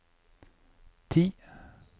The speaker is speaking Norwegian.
ti